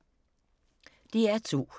DR2